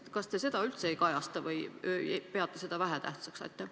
Kas te seda üldse ei kajasta või peate seda vähetähtsaks?